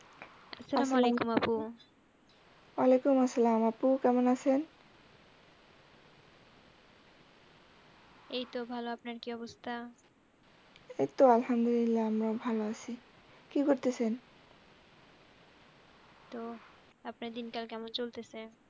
এই তো ভালো, আপনার কি অবস্থা? এই তো আলহামদুলিল্লাহ আমরাও ভালো আছি। কি করতেসেন? তো আপনার দিনকাল কেমন চলতেসে?